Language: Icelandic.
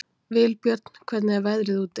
Vilbjörn, hvernig er veðrið úti?